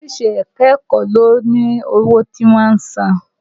Oríṣi ẹ̀ka-ẹ̀kọ́ ló ní owó tí wọ́n ń san.